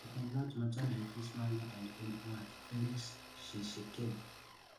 Jatend loch machon e Ofis mar Jatend Piny owacho Felix Tshisekedi